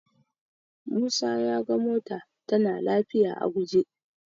Musa ya ga mota tana lafiya a guje.